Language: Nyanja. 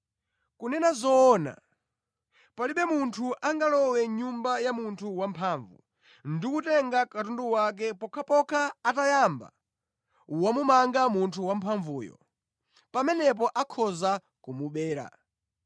Kunena zoona, palibe munthu angalowe mʼnyumba ya munthu wamphamvu ndi kutenga katundu wake pokhapokha atayamba wamumanga munthu wamphamvuyo. Pamenepo akhoza kumubera.